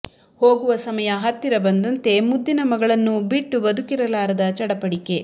ಹೋಗುವ ಸಮಯ ಹತ್ತಿರ ಬಂದಂತೆ ಮುದ್ದಿನ ಮಗಳನ್ನು ಬಿಟ್ಟು ಬದುಕಿರಲಾರದ ಚಡಪಡಿಕೆ